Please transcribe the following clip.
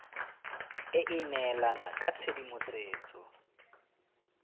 e e neelana ka tshedimosetso